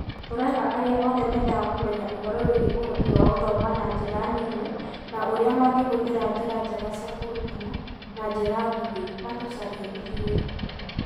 Tũreta arĩa othe mendaga kũmenya ũhoro wĩgiĩ ũhoti wa gũthoma na njĩra nini na ũrĩa mangĩhũthĩra njĩra njega cia kũrutana na njĩra nguhĩ matũcarie ithuĩ